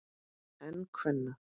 En kvenna?